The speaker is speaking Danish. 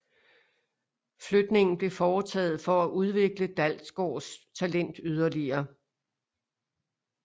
Flytningen blev foretaget for at udvikle Dalgaards talent yderligere